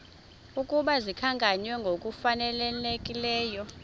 ukuba zikhankanywe ngokufanelekileyo